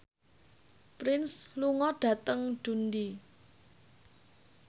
Prince lunga dhateng Dundee